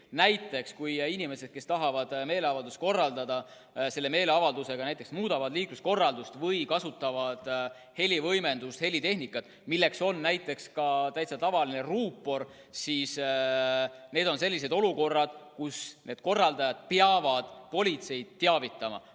Näiteks kui inimesed tahavad meeleavaldust korraldada ja selle meeleavaldusega näiteks muudavad liikluskorraldust või kasutavad helivõimendustehnikat, milleks võib olla ka täitsa tavaline ruupor, siis korraldajad peavad politseid sellest teavitama.